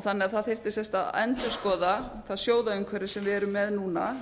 einnig að það þyrfti að endurskoða það sjóðaumhverfi sem við erum með núna